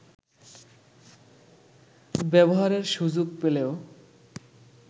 ব্যবহারের সুযোগ পেলেও